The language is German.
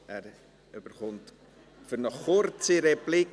Er erhält das Wort für eine kurze Replik.